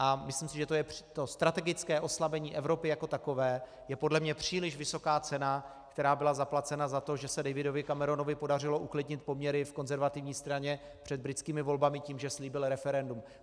A myslím si, že to strategické oslabení Evropy jako takové je podle mě příliš vysoká cena, která byla zaplacena za to, že se Davidovi Cameronovi podařilo uklidnit poměry v Konzervativní straně před britskými volbami tím, že slíbil referendum.